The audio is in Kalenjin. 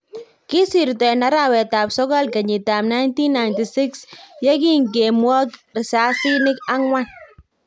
Kisirto en arawet ab sokol kenyit ab 1996 yekinge mwok risasinik ang'wan